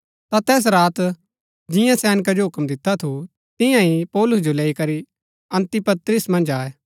ता तैस रात जिंआं सैनका जो हूक्म दिता थु तियां ही पौलुस जो लैई करी अन्तिपत्रिस मन्ज आये